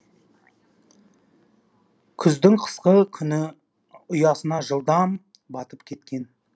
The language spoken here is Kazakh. күздің қысқа күні ұясына жылдам батып кеткен